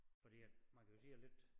Fordi at man kan jo sige at lidt